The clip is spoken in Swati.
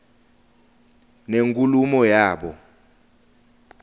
nenkulumo yabo